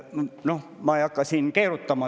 Noh, ma ei hakka siin keerutama.